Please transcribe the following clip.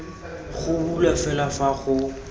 go bulwa fela fa go